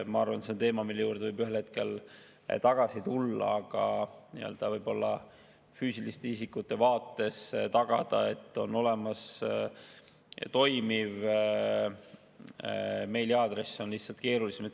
Ma arvan, et see on teema, mille juurde võib ühel hetkel tagasi tulla, aga võib-olla füüsiliste isikute puhul on lihtsalt keerulisem tagada, et neil on olemas toimiv meiliaadress.